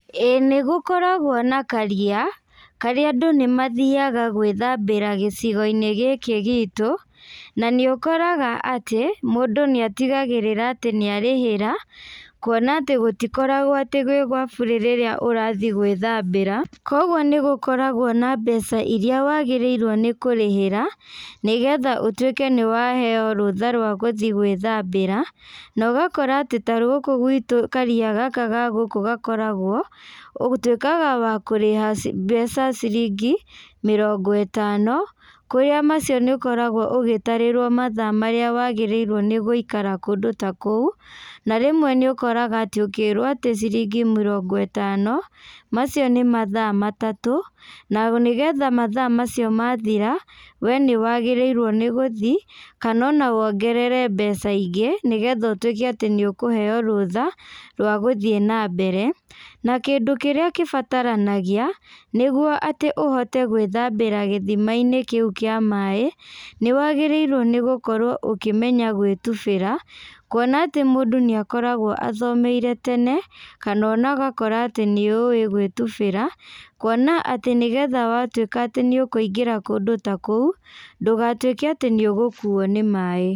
Ĩĩ nĩgũkoragwo na karia, karĩa andũ nĩmathiaga gwĩthambĩra gĩcigoinĩ gĩkĩ gitũ, na nĩũkoraga atĩ, mũndũ nĩatigagĩrĩra atĩ nĩarĩhĩra, kuona atĩ gũtikoragwo atĩ gwĩ gwa bure rĩrĩa ũrathiĩ gwĩthambĩra, koguo nĩgũkoragwo na mbeca iria wagĩrĩirwo nĩ kũrĩhĩra, nĩgetha ũtuĩke nĩwaheo rũtha rwa gũthiĩ gwĩthambĩra, na ũgakora atĩ ta gũkũ gwitũ karia gaka ga gũkũ gakoragwo, ũtuĩkaga wa kũrĩha ci mbeca ciringi mĩrango ĩtano, kũrĩa macio nĩũkoragwo ũgĩtarĩrwo mathaa marĩa wagĩrĩirwo nĩgũikara kũndũ ta kũu, na rĩmwe nĩũkoraga atĩ ũkĩrwo atĩ ciringi mĩrongo ĩtano, macio nĩ mathaa matatũ, na nĩgetha mathaa macio mathira, we nĩwagĩrĩirwo nĩ gũthiĩ, kana ona wongerere mbeca ingĩ nĩgetha ũtuĩke nĩ ũkũheo rũtha rwa gũthiĩ nambere, na kĩndũ kĩrĩa kĩbataranagia, nĩguo atĩ ũhote gwĩthambĩra gĩthimainĩ kĩu kĩa maĩ, nĩwagĩrĩirwo nĩgũkorwa ũkĩmenya gwĩtubĩra, kuona atĩ mũndũ nĩakoragwo athomeire tene, kana ũgakora atĩ nĩũĩ gwĩtubĩra, kuona atĩ nĩgetha watuĩka atĩ nĩũkũigĩra kũndũ ta kũu, ndũgatuĩke atĩ nĩũgũkuo nĩ maĩ.